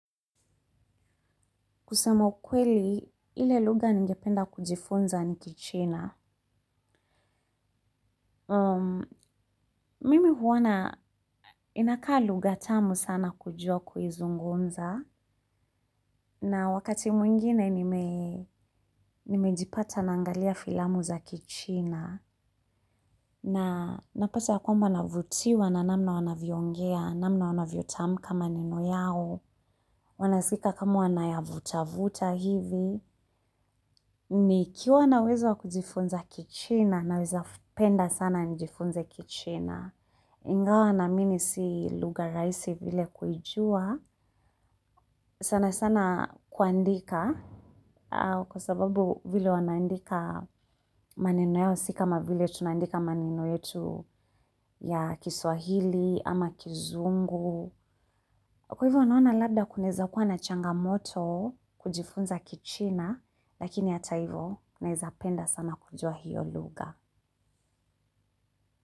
Kusema ukweli, ile lugha ningependa kujifunza ni kichina. Mimi huona inakaa lugha tamu sana kujua kuizungumza. Na wakati mwingine nimejipata naangalia filamu za kichina. Na napata ya kwamba navutiwa na namna wanavyoongea, namna wanavyotamka maneno yao. Wanasikika kama wanayavutavuta hivi nikiwa na uwezo kujifunza kichina naweza penda sana nijifunze kichina. Ingawa naamini si lugha rahisi pia kuijua. Sana sana kuandika kwa sababu vile wanaandika maneno yao si kama vile tunaandika maneno yetu ya kiswahili ama kizungu. Kwa hivyo naona labda kunaeza kuwa na changamoto kujifunza kichina, lakini hata hivyo naeza penda sana kujua hiyo lugha.